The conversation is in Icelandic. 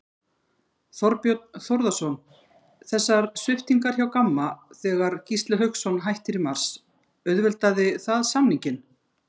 Þorbjörn Þórðarson: Þessar sviptingar hjá Gamma þegar Gísli Hauksson hættir í mars, auðveldaði það samninginn?